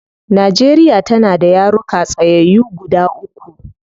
Nigeria tana da yaruka tsayyayu guda uku